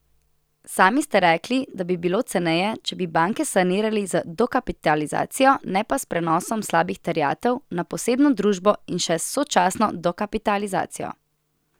Sami ste rekli, da bi bilo ceneje, če bi banke sanirali z dokapitalizacijo, ne pa s prenosom slabih terjatev na posebno družbo in še s sočasno dokapitalizacijo.